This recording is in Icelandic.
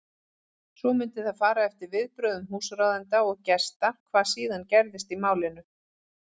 Svo mundi það fara eftir viðbrögðum húsráðenda og gesta hvað síðan gerist í málinu.